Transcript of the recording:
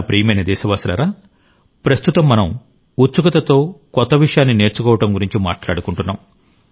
నా ప్రియమైన దేశవాసులారా ప్రస్తుతం మనం ఉత్సుకతతో కొత్త విషయాన్ని నేర్చుకోవడం గురించి మాట్లాడుకుంటున్నాం